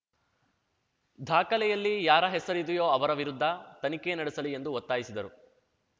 ದಾಖಲೆಯಲ್ಲಿ ಯಾರ ಹೆಸರಿದೆಯೋ ಅವರ ವಿರುದ್ಧ ತನಿಖೆ ನಡೆಸಲಿ ಎಂದು ಒತ್ತಾಯಿಸಿದರು